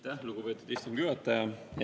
Aitäh, lugupeetud istungi juhataja!